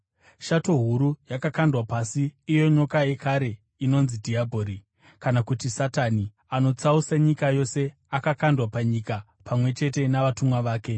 Shato huru yakakandwa pasi, iyo nyoka yekare inonzi dhiabhori, kana kuti Satani, anotsausa nyika yose. Akakandwa panyika pamwe chete navatumwa vake.